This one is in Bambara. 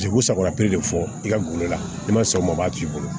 Paseke u sagola piri de fɔ i ka gulo la n'i ma sɔn o ma o b'a t'i bolo